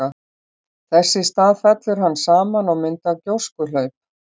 Þess í stað fellur hann saman og myndar gjóskuhlaup.